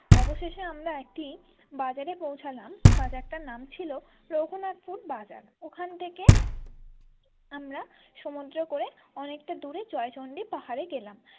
অবশেষে আমরা একটি বাজারে পৌঁছালাম বাজারটির নাম ছিল রঘুনাথপুর বাজার ওখান থেকে আমরা সমুদ্র করে অনেকটা দূরে জয়চন্ডী পাহাড়ে গেলাম।